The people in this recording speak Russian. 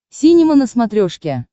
синема на смотрешке